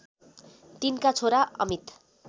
तिनका छोरा अमित